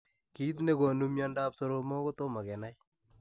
Kiit negonuu miandoop soromok kotomo Kenai.